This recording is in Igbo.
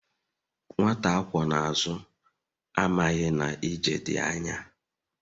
Nwata akwó na azu, amaghi na ije di anya